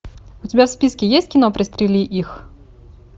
у тебя в списке есть кино пристрели их